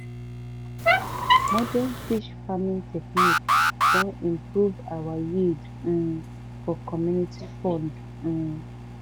modern fish farming technique don improve our yield um for community fund um